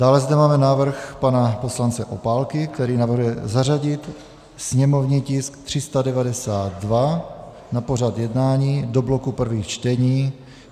Dále zde máme návrh pana poslance Opálky, který navrhuje zařadit sněmovní tisk 392 na pořad jednání do bloku prvních čtení.